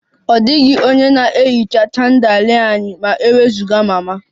Ọ dịghị onye na-ehicha chandelier anyị ma e wezụga mama